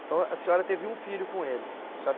Então a senhora teve um filho com ele? Senhora